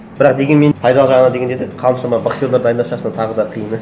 бірақ дегенмен пайдалы жағына дегенде де қаншама боксерлер дайындап шығарсаң тағы да қиын